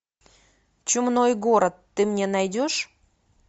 чумной город ты мне найдешь